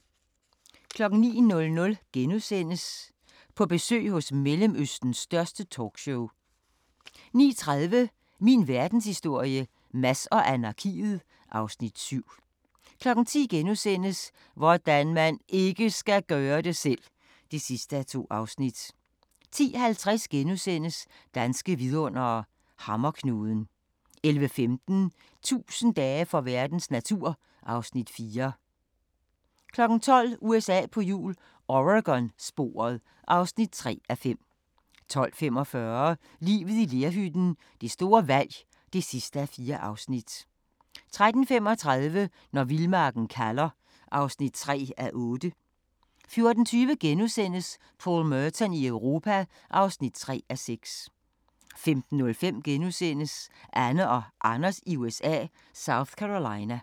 09:00: På besøg hos Mellemøstens største talkshow * 09:30: Min verdenshistorie - Mads og anarkiet (Afs. 7) 10:00: Hvordan man IKKE skal gøre det selv! (2:2)* 10:50: Danske vidundere: Hammerknuden * 11:15: 1000 dage for verdens natur (Afs. 4) 12:00: USA på hjul - Oregon-sporet (3:5) 12:45: Livet i lerhytten – det store valg (4:4) 13:35: Når vildmarken kalder (3:8) 14:20: Paul Merton i Europa (3:6)* 15:05: Anne og Anders i USA – South Carolina *